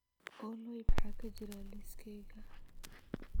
olly maxaa ka jira liiskayga